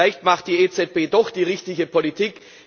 Vielleicht macht die EZB doch die richtige Politik.